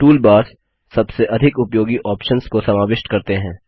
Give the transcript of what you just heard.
toolbars सबसे अधिक उपयोगी ऑप्शन्स को समाविष्ट करते हैं